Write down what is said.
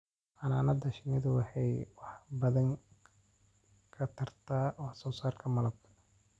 Xannaanada shinnidu waxay wax badan ka tartaa wax soo saarka malabka.